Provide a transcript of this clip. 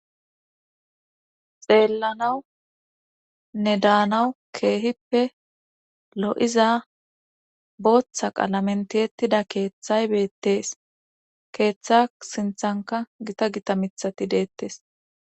xeellanawu ne daanawu keehippe lo7iza booththa qalamentiettida keeththay beettees keeththa sinthanka gita gita mithati deettes